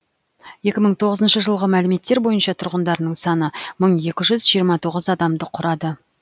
екі мың тоғызыншы жылғы мәліметтер бойынша тұрғындарының саны мың екі жүз жиырма тоғыз адамды құрады